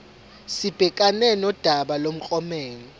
sibhekane nodaba lomklomelo